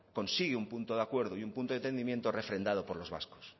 consigue un punto de acuerdo y un punto de entendimiento refrendado por los vascos